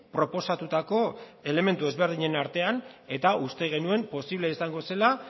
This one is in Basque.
proposatutako elementu desberdinen artean eta uste genuen posible izango zela